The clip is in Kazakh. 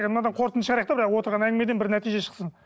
мынадан қорытынды шығарайық та отырған әңгімеден бір нәтиже шықсын